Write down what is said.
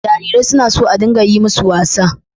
Jarirai suna so a dinga yi masu wasa.